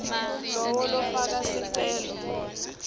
lowo lofaka sicelo